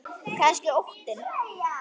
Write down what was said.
Kannski óttinn.